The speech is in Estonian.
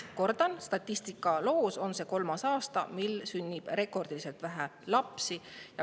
Kordan: see on kolmas aasta, mil sünnib rekordiliselt vähe lapsi.